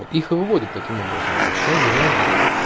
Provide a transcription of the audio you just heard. их и выводит таким образом то есть сейчас реально